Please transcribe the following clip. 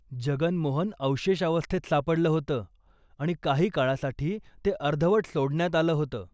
जगन मोहन अवशेष अवस्थेत सापडलं होतं आणि काही काळासाठी ते अर्धवट सोडण्यात आलं होतं.